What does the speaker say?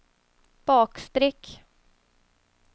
bakstreck